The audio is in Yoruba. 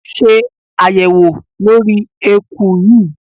Ṣe àyẹ̀wò lórí eku yìí!